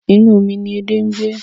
Inú omi ni edé ń gbé.